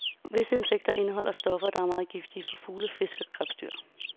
Visse insektgifte indeholder stoffer, der er meget giftige for fugle, fisk og krebsdyr.